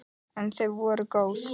En þau voru góð.